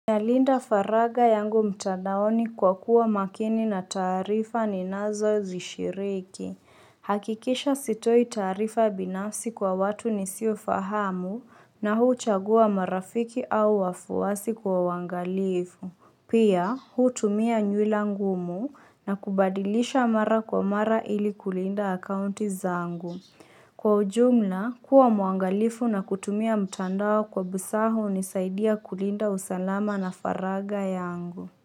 Nalinda faragha yangu mtandaoni kwa kuwa makini na taarifa ninazozishiriki. Hakikisha sitoi taarifa binansi kwa watu nisiofahamu na huu chagua marafiki au wafuwasi kwa wangalifu. Pia, huu tumia nywila ngumu na kubadilisha mara kwa mara ili kulinda akaunti zaangu. Kwa ujumla, kuwa muangalifu na kutumia mtandao kwa busaa hunisaidia kulinda usalama na faragha yangu.